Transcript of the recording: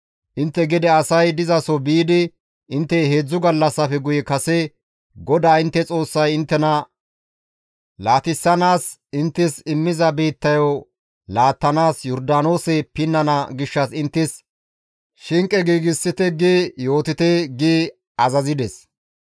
«Intte gede asay dizaso biidi, ‹Intte heedzdzu gallassafe guye kase GODAA intte Xoossay inttena laatissanaas inttes immiza biittayo laattanaas Yordaanoose pinnana gishshas inttes shinqe giigsite› gi yootite» gi azazides.